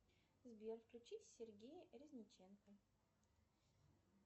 сбер включи сергея резниченко